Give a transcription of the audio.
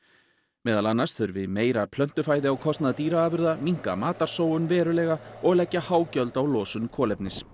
meðal annars þurfi meira á kostnað dýraafurða minnka matarsóun verulega og leggja há gjöld á losun kolefnis